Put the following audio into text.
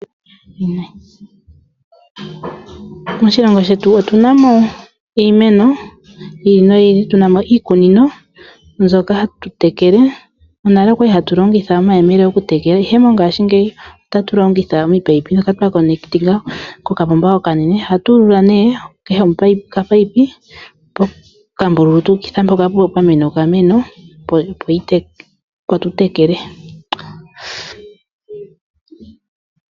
Moshilongo shetu otunamo iimeno yi ili noyi ili. Otunamo iikunino mbyoka hatu tekele. Monale okwali hatu longitha omayemele opo tu tekele, ihe mongashingeyi ohatu longitha ominino ndhoka twa kwatakanitha kokapomba okanene. ohatu ulula nee kehe omunino kehe pokambululu tu ukitha mpoka pwa mena okameno opo tu tekele.